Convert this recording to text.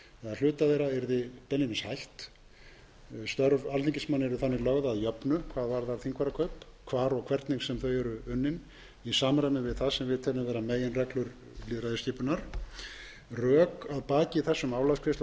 þeirra yrði beinlínis hætt störf alþingismanna eru þannig lögð að jöfnu hvað varðar þingfararkaup hvar og hvernig sem þau eru unnin í samræmi við það sem við teljum vera meginreglur lýðræðisskipunar rök að baki þessum álagsgreiðslum